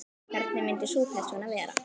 Hvernig myndi sú persóna vera?